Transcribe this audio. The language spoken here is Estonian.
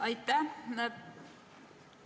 Aitäh!